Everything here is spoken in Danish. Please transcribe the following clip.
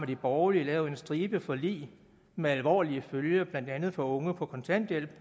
de borgerlige lavet en stribe forlig med alvorlige følger blandt andet for unge på kontanthjælp